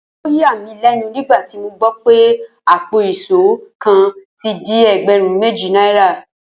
Ó yà mí lé̩nu nígbà tí mo gbó̩ wipé àpò ìs̩ó kan ti di e̩gbè̩rún méjì náírà